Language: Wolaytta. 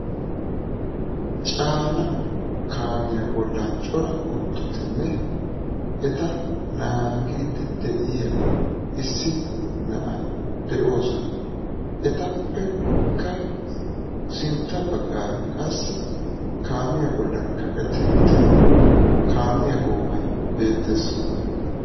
Caana kaamiyaa bollan cora kuttotinne eta naagidi de'iyaa issi na'ay de'oosona. etappe sintta baggaara kaamiyaa bollan kaqetti uttida kaamiyaa goomay beettees.